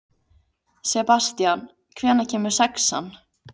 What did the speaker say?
Sebastían, hvenær kemur sexan?